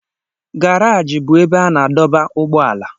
Garaji bụ ebe a na-adọba ụgbọala.